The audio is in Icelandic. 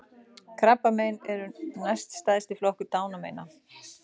Krabbamein eru næst stærsti flokkur dánarmeina